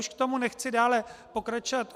Už k tomu nechci dále pokračovat.